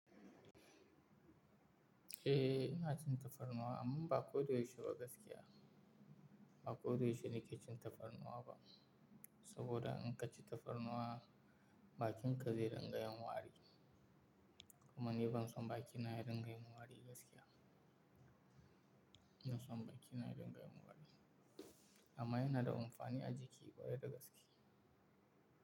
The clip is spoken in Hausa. Eh ina cin tafarnuwa amma ba ko da yaushe ba gaskiya. Ba ko da yaushe nake cin tafarnuwa ba, saboda in ka ci tafarnuwa bakinka zai dinga yin wari. Kuma ni ban son bakina ya dinga yin wari gaskiya. Ban son bakina ya dinga yin wari. Amma yana da amfani a jiki kware da gaskiya.